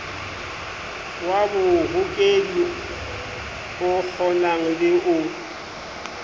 wa bohokedi okgonang le o